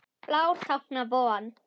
Blár táknar von.